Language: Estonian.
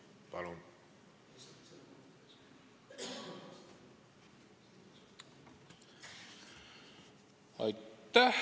Palun!